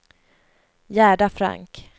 Gerda Frank